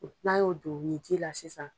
N'an y'o don o ji la sisan.